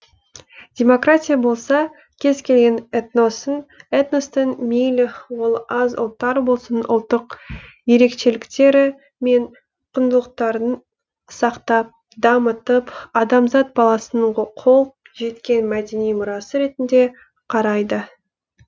демократия болса кез келген этностың мейлі ол аз ұлттар болсын ұлттық ерекшеліктері мен құндылықтарын сақтап дамытып адамзат баласының қол жеткен мәдени мұрасы ретінде қарайды